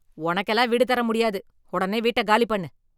உனக்கெல்லாம் வீடு தர முடியாது. உடனே வீட்டை காலி பண்ணு.